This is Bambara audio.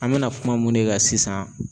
An mɛna kuma mun de kan sisan